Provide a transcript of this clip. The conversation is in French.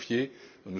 qui m'ont